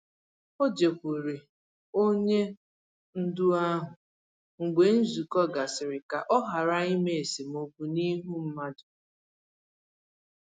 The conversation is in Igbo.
O jekwuuru onye ndu ahụ mgbe nzukọ gasịrị ka ọ ghara ime esemokwu n'ihu mmadụ.